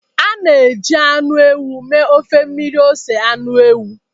A na-eji anụ ewu mee ofe mmiri ose anụ ewu.